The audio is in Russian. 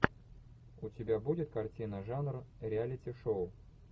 у тебя будет картина жанр реалити шоу